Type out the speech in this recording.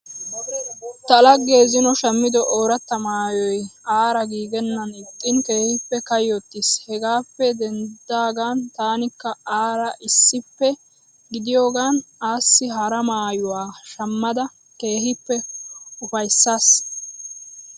Ta laggee zino shammido ooratta maayoyi aara giigenna ixxiin keehippe kayyottiis. Hegaappe deniddidaagan taanikka aara issippe gidiyogaan assi hara maayuwa shammada keehippe ufayissaas.